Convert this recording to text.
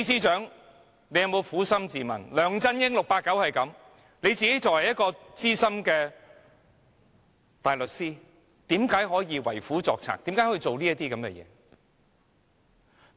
縱然 "689" 梁振英如此，但他作為資深大律師，為何可以為虎作倀，做出這些事？